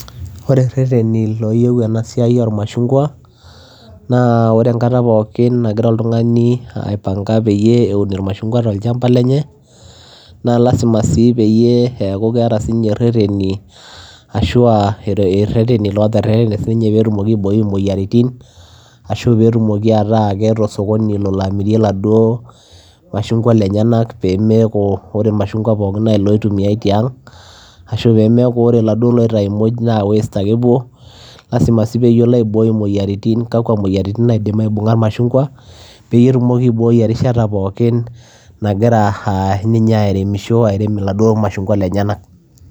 Ore irereteni looyieu enaa siai ooo machungwa naa oree enkata pookin nagira oltunganii aas irereteni peyiee eun naa lazima sii peyiee eekuu keeta sinye irereteni peyiee iboyoo imoyiaritin ashuaa eeta osokoni lolo aamiriee iladuoo machungwa penyanak peyiee meeku oree irmashungwa pookin naa oloyumiayaa tiang paa oree iloitayuni nemepuo waste aahua pee eyiolo aaiboi imoyiaritin pookin payiee iboorii erishata pookin nagira ninyee airemisho